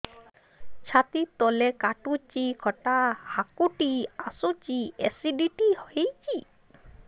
ଛାତି ତଳେ କାଟୁଚି ଖଟା ହାକୁଟି ଆସୁଚି ଏସିଡିଟି ହେଇଚି